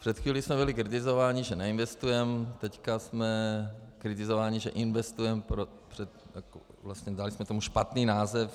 Před chvílí jsme byli kritizováni, že neinvestujeme, teď jsme kritizováni, že investujeme, dali jsme tomu špatný název.